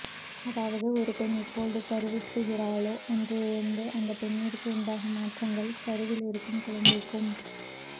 அதாவது ஒரு பெண் எப்போது கருவுறுகிறாளோ அன்றிலிருந்து அந்தப் பெண்ணிற்கு உண்டாகும் மாற்றங்கள் கருவிலிருக்கும் குழந்தைக்கும்